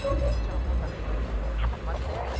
ಹೆಚ್ಚು amount ಅನ ಎತ್ತಿಕ್ಬೇಕು